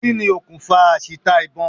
Kí ni okùnfà àṣìta ìbọn?